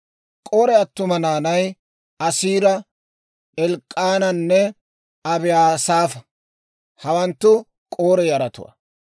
K'ore attuma naanay, Asiira, Elk'k'aananne Abiyaasaafa; hawanttu K'ore yaratuwaa.